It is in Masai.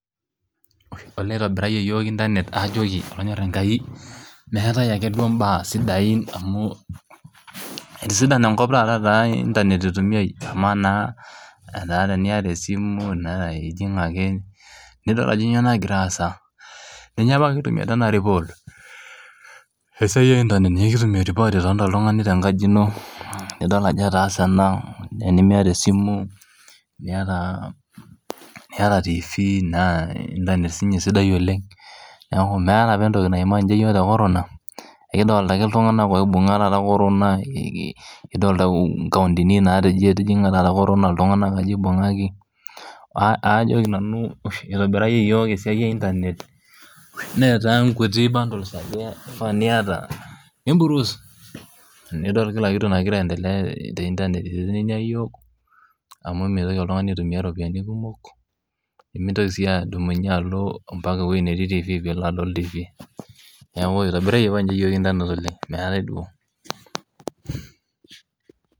olee eitobirayie yiook internet aajoki olonyor enkai meetae ake duo mbaa sidain, amu etisidana enkop taata etaa internet eitumiae, amaa naa etaa teniyata esimu naa ijing ake nidol ajo nyoo nagira aasa, ninye apa kitumie tena report esiai e internet ninye kitumie report itoonta oltung'ani tenkaji ino, nidol ajo etaase ena naa tenimiyata esimu niyata tv naa internet sii ninye sidai oleng neeku meeta apa entoki naima ninye yiook corona ekidoolta ake iltung'anak oibung'a taata corona, ee kii kidoolta inkaontini naata eji etijing;a taata corona iltung'anak aja eibung'aki, aajoki nanu usho eitobirayie yiook esiai e internet netaa nkuti bundles ake eifaa niyata nibruuse nidol kila kitu nagira aiendelea te internet, itelelia yiook amu meitoki oltung'ani aitumiya ropiani kumok, nimintoki sii adumunye alo o mpaka ewuei netii tv piilo adol tv,neeku eitobirayie apa ninche yiook internet oleng meetae duo.